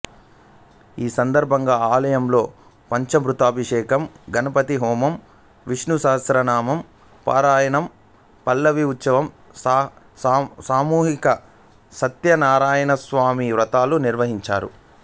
ఈ సందర్భంగా ఆలయంలో పంచామృతాభిషేకం గణపతి హోమం విష్ణు సహస్రనామ పారాయణం పల్లకీ ఉత్సవం సామూహిక సత్యనారాయణస్వామి వ్రతాలు నిర్వహించారు